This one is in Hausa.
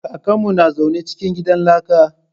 Kakan mu na zaune cikin gidan laka